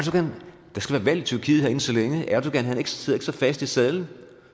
skal være valg i tyrkiet inden så længe og erdogan sidder ikke så fast i sadlen